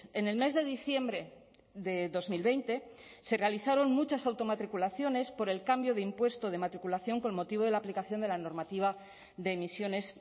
en el mes de diciembre de dos mil veinte se realizaron muchas automatriculaciones por el cambio de impuesto de matriculación con motivo de la aplicación de la normativa de emisiones